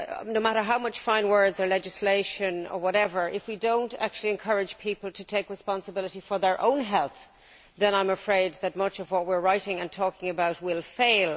No matter how many fine words or how much legislation or whatever, if we do not actually encourage people to take responsibility for their own health, I am afraid that much of what we are writing and talking about will fail.